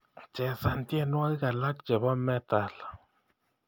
Chesan tyenwogik alak chebo metal